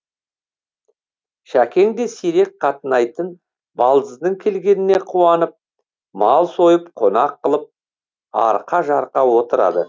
шәкең де сирек қатынайтын балдызының келгеніне қуанып мал сойып қонақ қылып арқа жарқа отырады